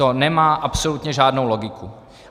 To nemá absolutně žádnou logiku.